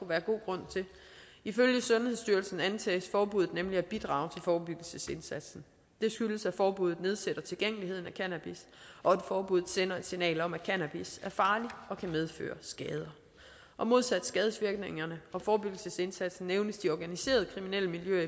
være god grund til ifølge sundhedsstyrelsen antages forbuddet nemlig at bidrage til forebyggelsesindsatsen det skyldes at forbuddet nedsætter tilgængeligheden af cannabis og at forbuddet sender et signal om at cannabis er farligt og kan medføre skader modsat skadevirkningerne og forebyggelsesindsatsen nævnes de organiserede kriminelle miljøer